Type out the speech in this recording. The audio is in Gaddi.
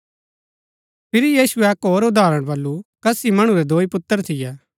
फिरी यीशुऐ अक्क होर उदाहरण बल्लू कसी मणु रै दोई पुत्र थियै